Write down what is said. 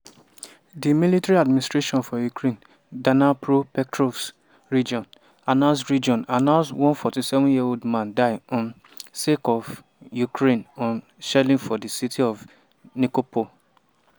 di military administration for ukraine dnipropetrovsk region announce region announce one 47-year-old man die um sake of russian um shelling for di city of nikopol.